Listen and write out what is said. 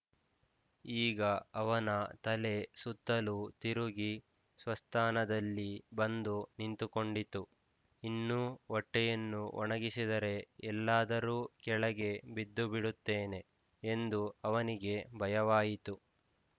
ಈಗ ಅವನ ತಲೆ ಸುತ್ತಲೂ ತಿರುಗಿ ಸ್ವಸ್ಥಾನದಲ್ಲಿ ಬಂದು ನಿಂತುಕೊಂಡಿತು ಇನ್ನೂ ಹೊಟ್ಟೆಯನ್ನು ಒಣಗಿಸಿದರೆ ಎಲ್ಲಾದರೂ ಕೆಳಗೆ ಬಿದ್ದು ಬಿಡುತ್ತೇನೆ ಎಂದು ಅವನಿಗೆ ಭಯವಾಯಿತು